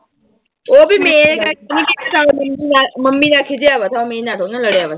ਉਹ ਵੀ ਮੇਰੇ ਨਾਲ ਮੰਮੀ ਨਾਲ ਖਿਝਿਆ ਹੋਇਆ ਥਾ ਮੇਰੇ ਨਾਲ ਥੋੜੀ ਨਾ ਲੜਿਆ